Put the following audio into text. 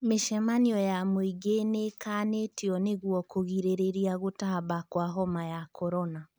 Mĩcemanio ya mũingĩ nĩĩkanĩtio nĩguo kũgirĩrĩria gũtamba kwa homa ya korona